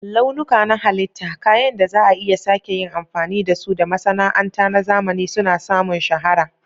Launuka na halitta, kayan da za a iya sake yin amfani da su, da masana'anta na zamani suna samun shahara.